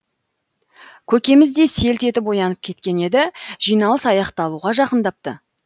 көкеміз де селт етіп оянып кеткен еді жиналыс аяқталуға жақындапты